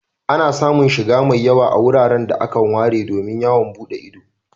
Ana samun shiga mai yawa a wuraren da akan ware domin yawon buɗe ido.